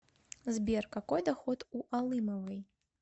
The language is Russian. сбер какой доход у алымовой